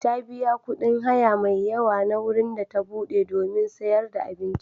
Ta biya kuɗin haya mai yawa na wurin da ta buɗe domin sayar da abinci.